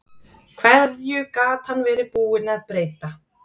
Hverju gat hann verið búinn að breyta?